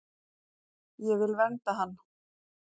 Ég vil vernda hann.